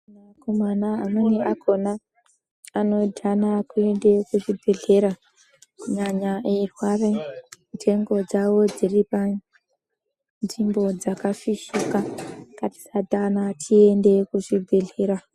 Akomana amweni akona anodhana kuenda kuzvibhedhlera. Kunyanya eirware ndengo dzavo dziripanzvimbo dzakafishika. Ngatisadhana, tiende kuzvibhedhlera.